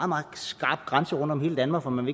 meget skarp grænse rundt om hele danmark og man